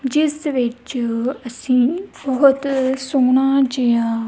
ਜਿਸ ਵਿਚ ਅਸੀ ਬਹੁਤ ਸੋਹਣਾ ਜਿਹਾ---